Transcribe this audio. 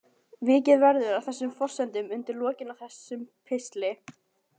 Vikið verður að þessum forsendum undir lokin á þessum pistli.